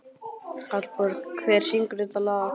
Hallborg, hver syngur þetta lag?